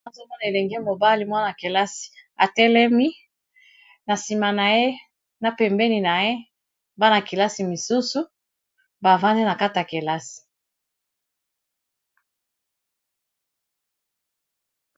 Nazo mwana elinge mobali mwana-kelasi atelemi na nsima na ye na pembeni na ye bana-kelasi misusu bavandi na kata kelasi